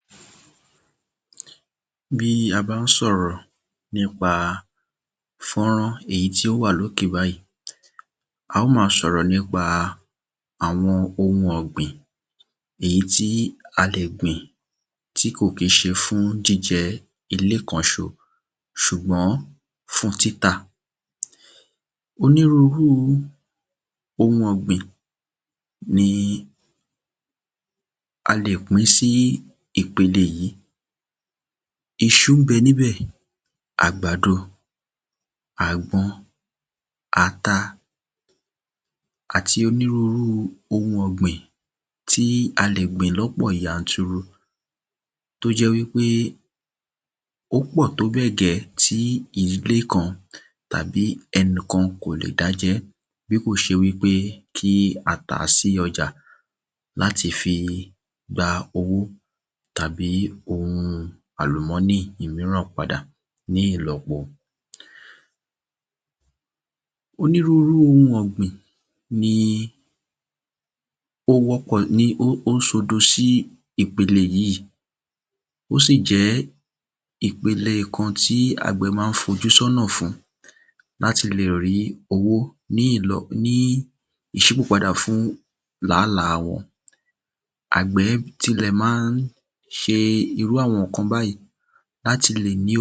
Ìdí pàtàkì àti ọ̀nà méjì ni ó fàá tí àgbẹ̀ á ma fi ṣiṣẹ́ ní oko Ìdí alákọ́kó ni láti lè pèsè óunjẹ fún ilé rẹ̀ àti ìdílé rẹ̀ ní àpapọ̀ Tí ìdí ẹ̀ẹ̀kejì sì jẹ́ láti lè ta èrè oko ni láti lè rí owó ní orí wọn Fọ́nrán tí à ń wò yí ni ó ń ṣe àpèjúwe àti àfihàn àwọn oun èrè oko èyí tí a lè tà láti fi gba owó À ń ta iṣu À ń ta ẹ̀gẹ́ À ń ta ata Àti oríṣiríṣi oun èrè oko èyí tí a gbìn ní ọ̀pọ̀ yanturu tóbẹ́ẹ̀ tí ìdílé kan kò lè jẹ wọ́n Àgbẹ̀ á máa ta irúfe àwọn oun èrè oko báyì láti lè ní owó lọ́wọ́ Oríṣiríṣi oun èrè oko oun ni a lè ta Tàbí kí a sọ wípé ni a lè sọ di owó látàrí ọ̀pọ̀lọpọ̀ tí a fi gbìn-ín A lè lo ata A lè lo iṣu A lè lo ẹ̀gẹ́ Àti àwọn oun ọ̀gbìn bẹ́ẹ̀bẹ́ẹ̀ lọ láti lè sọ wọ́n di owó Irúfé oun ọ̀gbìn báyì ni àgbẹ̀ ma ń dára ma ń ní ìfẹ́ sí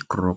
láti lè gbìn